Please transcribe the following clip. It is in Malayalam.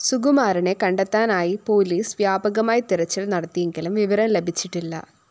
സുകുമാരനെ കണ്ടെത്താനായി പോലീസ് വ്യാപകമായി തിരച്ചില്‍ നടത്തിയെങ്കിലും വിവരം ലഭിച്ചിട്ടില്ല